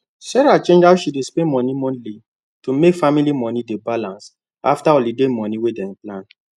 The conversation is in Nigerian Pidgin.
sarah change how she dey spend money monthly to make family money dey balance after holiday money wey dem plan